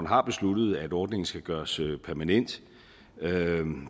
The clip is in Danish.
har besluttet at ordningen skal gøres permanent